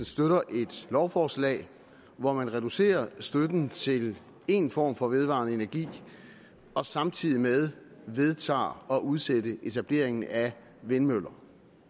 støtter et lovforslag hvor man reducerer støtten til én form for vedvarende energi og samtidig med det vedtager at udsætte etableringen af vindmøller